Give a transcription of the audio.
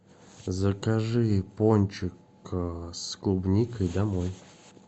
закажи пончик с клубникой домой